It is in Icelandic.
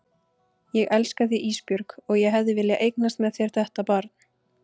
Ég elska þig Ísbjörg og ég hefði viljað eignast með þér þetta barn.